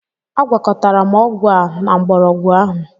Agwakọtara m ọgwụ a na mgbọrọgwụ ahụ.